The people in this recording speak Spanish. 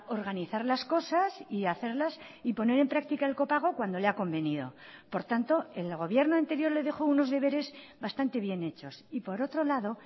organizar las cosas y hacerlas y poner en práctica el copago cuando le ha convenido por tanto el gobierno anterior le dejó unos deberes bastante bien hechos y por otro lado